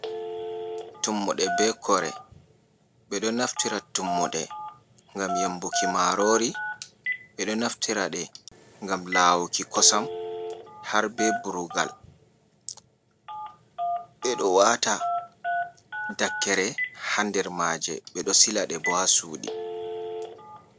Tummuɗe be kore, ɓe ɗo naftira tummude ngam yembuki marori, ɓe ɗo naftiraɗe ngam lawuki kosam har be burugal, ɓe ɗo wata dakkere haa dermaaje, ɓe ɗo silaɗe bo haa suɗi.